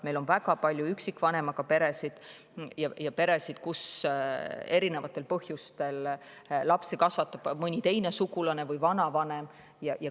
Meil on väga palju üksikvanemaga peresid ja peresid, kus erinevatel põhjustel lapsi kasvatab mõni teine sugulane või vanavanem.